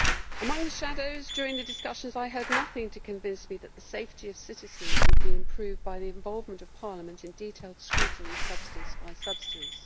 Among the shadows during the discussions, I heard nothing to convince me that the safety of citizens would be improved by the involvement of Parliament in detailed scrutiny, substance by substance.